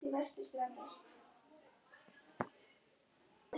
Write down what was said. Það hafa ekki fleiri keypt bensín á brúsum en